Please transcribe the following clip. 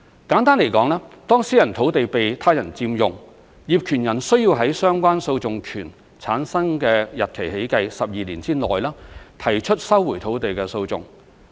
簡單地說，當私人土地被他人佔用，業權人需要在相關訴訟權產生的日期起計12年之內，提出收回土地的訴訟。